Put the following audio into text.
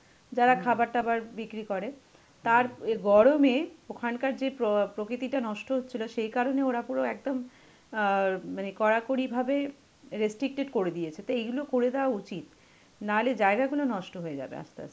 যারা খাবার টাবার বিক্রি করে. তার গরমে ওখানকার যে প্র প্রকৃতিটা নষ্ট হচ্ছিল, সেই কারণে ওরা পুরো একদম অ্যাঁ মানে কড়াকড়ি ভাবে restricted করে দিয়েছে. তো এগুলো করে দেওয়া উচিত না হলে জায়গাগুলো নষ্ট হয়ে যাবে আস্তে আস্তে.